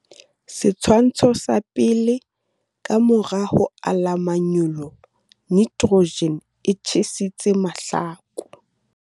Setshwantsho sa 1. Ka mora ho ala manyolo, nitrogen e tjhesitse mahlaku.